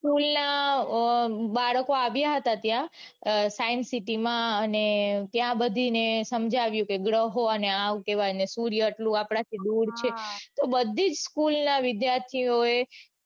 school ના બાળકો આવ્યા હતા ત્યાં science city માં અને ત્યાં બધું સમજાયું કે ગ્રહો ને હું કેવાય ને સૂર્ય આપણાથી દૂર છે તો બધી school ના વિદ્યાર્થીઓએ